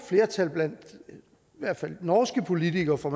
flertal blandt i hvert fald norske politikere for